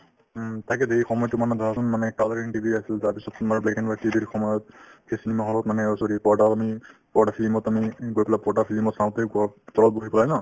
উম, তাকেতো এই সময়তো মানে ধৰাচোন মানে colouring TV আছিল তাৰপিছত তোমাৰ black and white TV ৰ সময়ত এই cinema hall ত মানে অ sorry পৰ্দাও আমি পৰ্দা film ত আমি গৈ পেলাই পৰ্দা film ত চাওঁতে গ'ল তলত বহি পেলাই ন